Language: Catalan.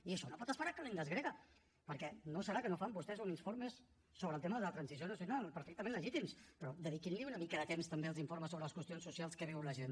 i això no pot esperar ad kalendas graecas perquè no deu ser que no fan vostès uns informes sobre el tema de la transició nacional perfectament legítims però dediquin una mica de temps també als informes sobre les qüestions socials que viu la gent